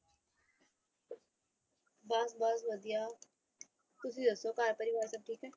ਬਸ ਬਸ ਵਧੀਆ ਤੁਸੀਂ ਦੱਸੋ ਘਰ ਪਰਿਵਾਰ ਸਭ ਠੀਕ ਹੈ।